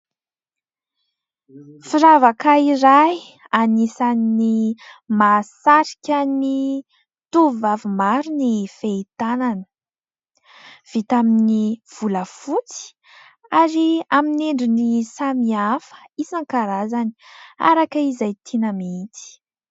Firavaka iray anisan'ny mahasarika ny tovovavy maro ny fehitanana, vita amin'ny volafotsy ary amin'ny endriny samihafa isan-karazany araka izay tiana mihitsy.